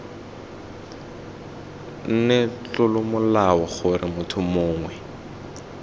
nne tlolomolao gore motho mongwe